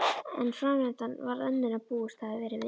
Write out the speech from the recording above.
En framvindan varð önnur en búist hafði verið við.